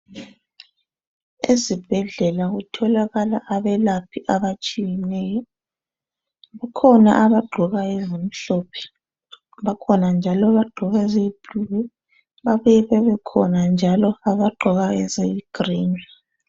Ezibhedlela kutholakala abelaphi abatshiyeneyo Kukhona abagqoka ezimhlophe bakhona njalo abagqoka eziyi blue babuye bebekhona njalo abagqoka eziyi green.